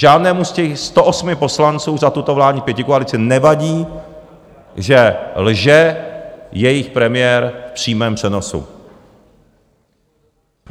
Žádnému z těch 108 poslanců za tuto vládní pětikoalici nevadí, že lže jejich premiér v přímém přenosu.